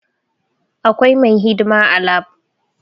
Akwai mai hidima a lab